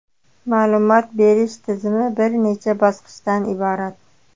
Ma’lumot berish tizimi bir necha bosqichdan iborat.